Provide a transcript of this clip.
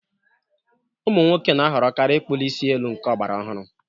Ụmụ nwoke na-ahọrọkarị ịkpuli isi elu nke ọgbrara ọhụrụ.